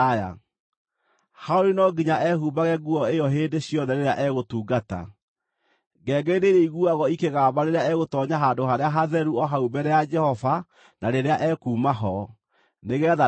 Harũni no nginya ehumbage nguo ĩyo hĩndĩ ciothe rĩrĩa egũtungata. Ngengere nĩirĩiguagwo ikĩgamba rĩrĩa egũtoonya Handũ-harĩa-Hatheru o hau mbere ya Jehova na rĩrĩa ekuuma ho, nĩgeetha ndagakue.